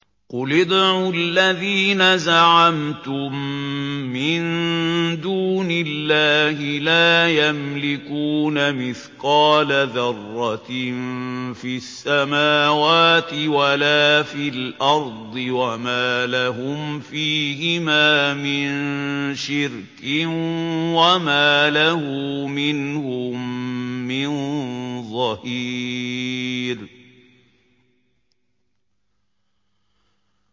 قُلِ ادْعُوا الَّذِينَ زَعَمْتُم مِّن دُونِ اللَّهِ ۖ لَا يَمْلِكُونَ مِثْقَالَ ذَرَّةٍ فِي السَّمَاوَاتِ وَلَا فِي الْأَرْضِ وَمَا لَهُمْ فِيهِمَا مِن شِرْكٍ وَمَا لَهُ مِنْهُم مِّن ظَهِيرٍ